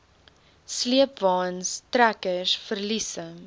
sleepwaens trekkers verliese